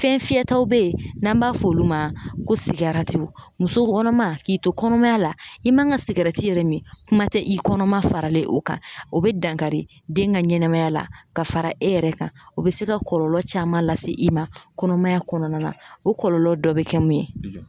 Fɛn fiyɛtaw bɛ yen n'an b'a fɔ olu ma ko sigaratiw muso kɔnɔma k'i to kɔnɔmaya la i man ka sigɛrɛti yɛrɛ min kuma tɛ i kɔnɔma faralen o kan o bɛ dankari den ka ɲɛnɛmaya la ka fara e yɛrɛ kan o bɛ se ka kɔlɔlɔ caman lase i ma kɔnɔmaya kɔnɔna na o kɔlɔlɔ dɔ bɛ kɛ mun ye.